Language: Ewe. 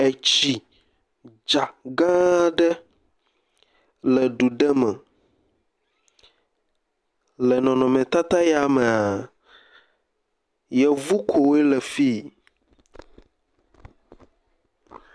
Etsi dza gã aɖe le du ɖe me le nɔnɔme tata ya mea yevu koe le fii.